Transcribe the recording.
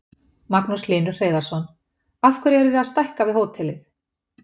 Magnús Hlynur Hreiðarsson: Af hverju eruð þið að stækka við hótelið?